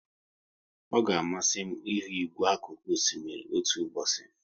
Ọ ga amasị m ihu igwe akuku osimiri otu ụbọchị